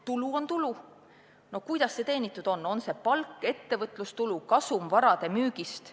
Tulu on tulu olenemata sellest, kuidas see teenitud on – on see palk, ettevõtlustulu, kasum vara müügist.